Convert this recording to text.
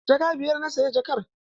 Jaka biyar na saya jakar.